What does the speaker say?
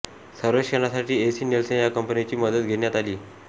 सर्वेक्षणासाठी AC Nielsen या कंपनीची मदत घेण्यात आली